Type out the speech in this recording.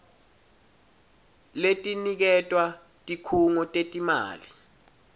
letiniketwa tikhungo tetimali